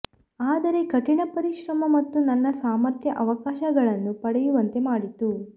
ಆದರೆ ಕಠಿಣ ಪರಿಶ್ರಮ ಮತ್ತು ನನ್ನ ಸಾಮರ್ಥ್ಯ ಆವಕಾಶಗಳನ್ನು ಪಡೆಯುವಂತೆ ಮಾಡಿತು